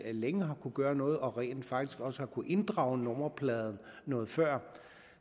længe har kunnet gøre noget og rent faktisk også har kunnet inddrage nummerpladen noget før